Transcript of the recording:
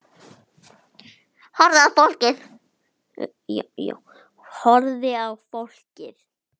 Horfir á fólkið.